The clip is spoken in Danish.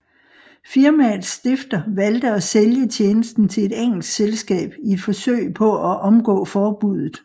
Firmaets stifter valgte at sælge tjenesten til et engelsk selskab i et forsøg på at omgå forbuddet